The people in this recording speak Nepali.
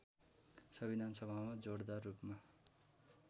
संविधानसभामा जोडदार रूपमा